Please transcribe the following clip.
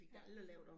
Ja